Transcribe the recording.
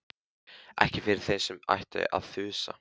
Ekki yfir þeim sem ætti að þusa.